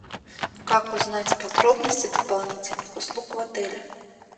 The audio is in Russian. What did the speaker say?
как узнать подробности дополнительных услуг в отеле